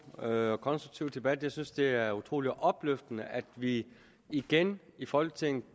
og konstruktiv debat jeg synes at det er utrolig opløftende at vi igen i folketinget